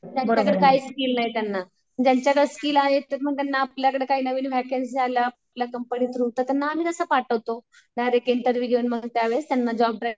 ज्यांच्याकडं काही स्किल नाही त्यांना. ज्यांच्याकडं स्किल आहे मग त्यांना आपल्याकडे काही नवीन वेकेंसी आल्या कंपनी थ्रू तर त्यांना आम्ही तसं पाठवतो. डायरेक्ट इंटरव्हिव्ह घेऊन मग त्यावेळेस त्यांना जॉब